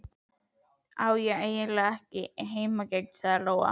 Ég á eiginlega ekki heimangengt, sagði Lóa.